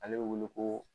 Ale wele ko